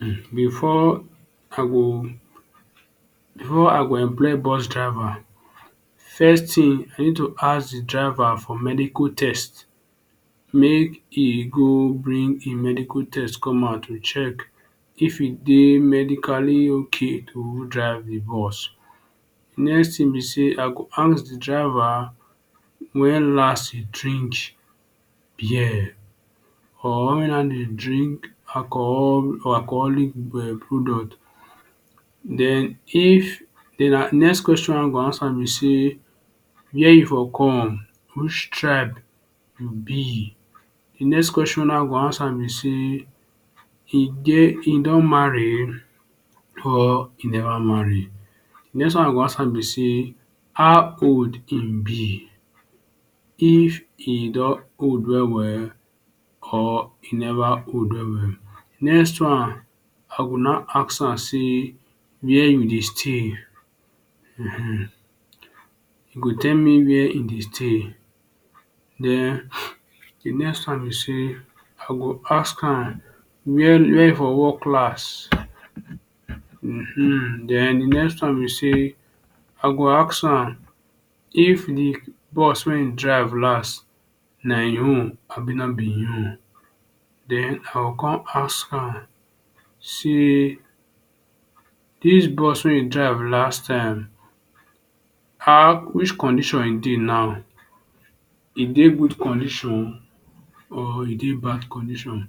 um Before I go before I go employ bus driver first tin I need to ask d driver for medical test, make e go bring hin medical test come out to check if e dey medically ok to drive d bus next tin be say I go ask d driver wen last e drink bear or wen last e drink alcohol or alcoholic product den if den next question I go ask am na wey e for come which tribe e be, d next question wey I go ask am be say e don marry or e never marry d next one be say how old e b, if e don old well well or e never old well well, next one I go naw ask am say where u dey stay um e go tell me where e dey stay den d next one be say I go ask am where where e for work last um den d next one be say I go ask am say if d bus wey e drive last nah in own abi no b hin own den I go con ask am say dis bus wey u drive last time which condition e dey now e dey good condition or e dey bad condition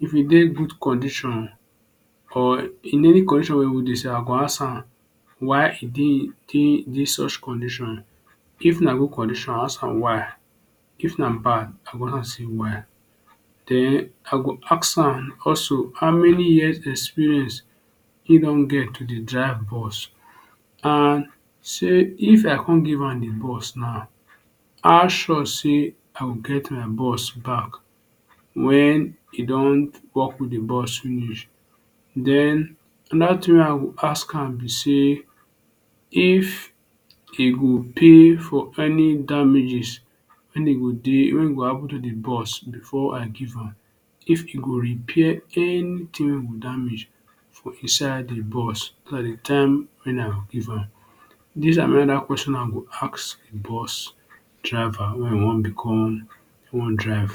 if e dey good condition or in any condition wey e dey I go ask am why e dey such condition, if na good condition I go ask am why, if na bad condition I go ask am say why den I go ask am also how many years experience hin don get wey he dey drive bus and say if I con give am d bus now how sure say I go get my bus back wen e don work with d bus finish den anoda thing wey I go ask am b say if he go pay for any damages wen e go, wen e go happen to d bus before I give am if e go repair anything wey go damage for inside d bus as at d time wey I give am. Dis na question wey I go ask d bus driver wey wan become wey wan drive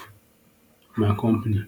for my company.